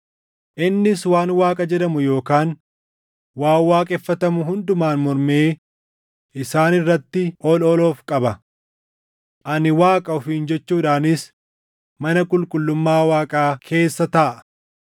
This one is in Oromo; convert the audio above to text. Innis waan Waaqa jedhamu yookaan waan waaqeffatamu hundumaan mormee isaan irratti ol ol of qaba; “Ani Waaqa” ofiin jechuudhaanis mana qulqullummaa Waaqaa keessa taaʼa.